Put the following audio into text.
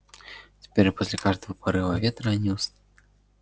теперь после каждого порыва ветра они